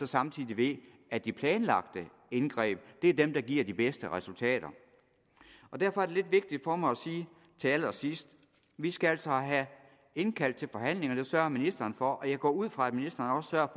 samtidig ved at de planlagte indgreb er dem der giver de bedste resultater derfor er det lidt vigtigt for mig at sige til allersidst vi skal altså have indkaldt til forhandlinger det sørger ministeren for og jeg går ud fra at ministeren også